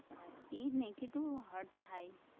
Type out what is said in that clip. ઈ જ ને કેટલું hurt થાય.